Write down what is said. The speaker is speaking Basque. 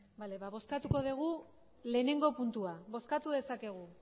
bale bozkatuko dugu batgarrena puntua bozkatu dezakegu